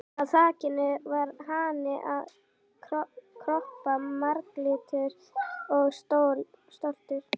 Á á þakinu var hani að kroppa, marglitur og stoltur.